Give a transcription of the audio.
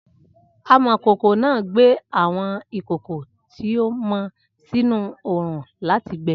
Amọ̀kòkò náà gbé àwọn ìkòkò tí ó mọ sínú oòrùn láti gbẹ́